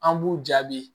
An b'u jaabi